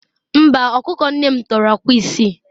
Mba, ọkụkọ nne m tọrọ akwa isii